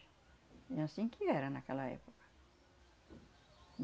É anssim que era naquela época.